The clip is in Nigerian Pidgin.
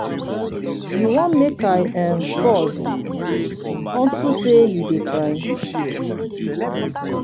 you wan make i um fall unto say you dey cry.